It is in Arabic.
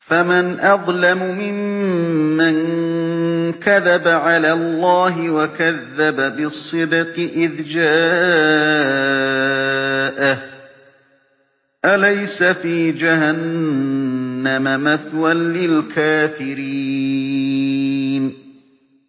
۞ فَمَنْ أَظْلَمُ مِمَّن كَذَبَ عَلَى اللَّهِ وَكَذَّبَ بِالصِّدْقِ إِذْ جَاءَهُ ۚ أَلَيْسَ فِي جَهَنَّمَ مَثْوًى لِّلْكَافِرِينَ